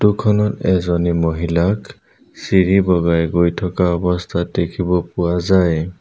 Photo খনত এজনী মহিলাক চিৰি বগাই গৈ থকা অৱস্থাত দেখিব পোৱা যায়।